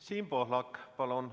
Siim Pohlak, palun!